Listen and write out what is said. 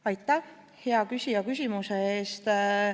Aitäh, hea küsija, küsimuse eest!